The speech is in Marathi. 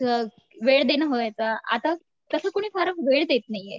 वेळ देणं व्हायचं आता तसं कुणी वेळ देत नाहीये.